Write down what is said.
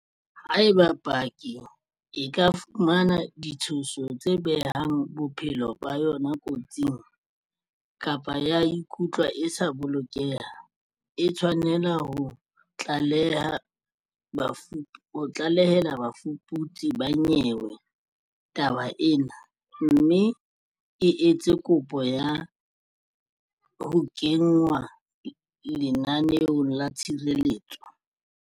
Haeba paki e ka fumana ditshoso tse behang bophelo ba yona kotsing, kapa ya ikutlwa e sa bolokeha, e tshwanela ho tlalehela bafuputsi ba nyewe taba ena, mme e etse kopo ya ho kenngwa lenaneong la tshireletso.